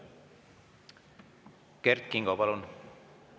Kert Kingo, palun!